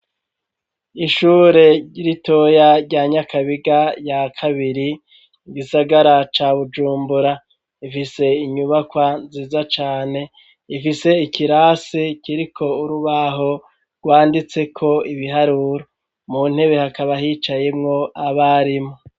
ishure ritoya rya Nyakabiga ya kabiri igisagara ca Bujumbura, rifise inyubakwa nziza cane, rifise ikirasi kiriko urubaho rwanditseko ibiharuro, mu ntebe hakaba hicayemwo abarimu.